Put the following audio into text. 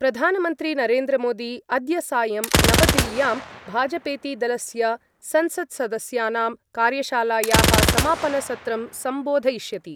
प्रधानमन्त्री नरेन्द्रमोदी अद्य सायं नवदिल्ल्यां भाजपेति दलस्य संसत्सदस्यानां कार्यशालायाः समापनसत्रं सम्बोधयिष्यति।